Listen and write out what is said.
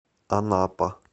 анапа